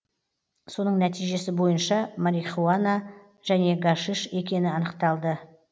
соның нәтижесі бойынша марихуана және гашиш екені анықталды